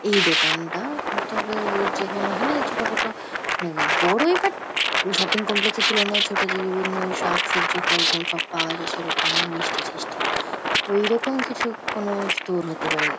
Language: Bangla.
এই দোকানটা তবে ওই যেকোনো হয়না ওই ছোট খাটো মানে বড়োই বাট শপিং কমপ্লেক্স -এর তুলনায় ছোট যে বিভিন্ন শাক-সবজি ফল-টল সব পাওয়া যায় সেরকম মিষ্টি-ঠিষ্টি । ওইরকম কিছু কোনো স্টোর হতে পারে।